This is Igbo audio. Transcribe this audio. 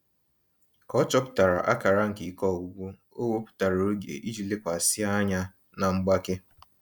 Ka ọ chọpụtara akara nke ike ọgwụgwụ, o wepụtara oge iji lekwasị anya na mgbake.